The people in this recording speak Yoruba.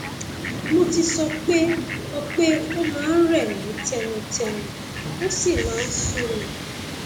mo ti sọ pé ó pé ó máa ń rẹ mí tẹnutẹnu ó sì máa ń sú mi